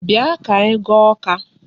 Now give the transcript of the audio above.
Bịa ka anyị gaa Awka.